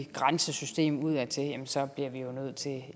grænsesystem udadtil så bliver vi jo nødt til